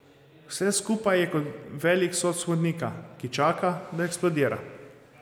Vse skupaj je kot velik sod smodnika, ki čaka, da eksplodira.